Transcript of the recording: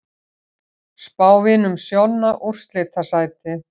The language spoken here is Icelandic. Spá Vinum Sjonna úrslitasæti